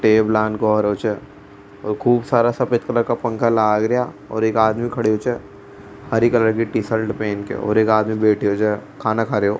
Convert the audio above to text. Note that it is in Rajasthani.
खूब सारा सफेद कलर का पंखा लाग रा और एक आदमी खड़ो च हरी कलर की टीशर्ट पहन के और एक आदमी बैठो जे खानों खा रो।